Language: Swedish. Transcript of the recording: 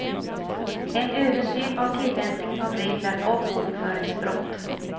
En översyn av tillämpningen av regler om bokföringsbrott.